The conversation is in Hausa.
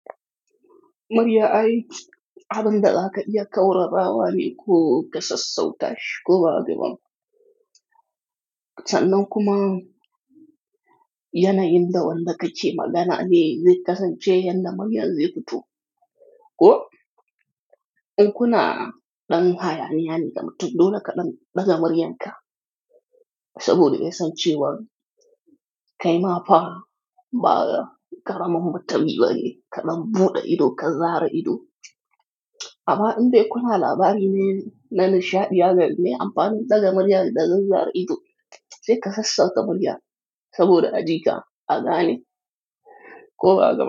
Mariya ai, abin da zaka yi ya kaura rabawa ne ko ka sassauta shi ko ba ga ba. Sanin kuma yana yin da wanda ka ce magana ne zai kasance yadda Mariyan zai fito. Ko in kuna ɗan haya ne, yani mutum dole ka dan ɗaga mariyan ka. Saboda dai san cewa kai ma fa ba ka karamin mutumi bane, kaɗan buɗe ido ka zare ido. Ama in dai kuna labari ne na nishaɗiya da me amfanin daga mariya da daga zare ido sai ka sassauta Mariya saboda ajika, aga ne ko ba haka ba.